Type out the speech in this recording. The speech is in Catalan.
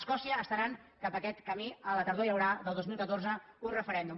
escòcia està anant cap a aquest camí a la tardor hi haurà del dos mil catorze un referèndum